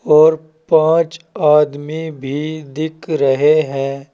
और पांच आदमी भी दिख रहे हैं।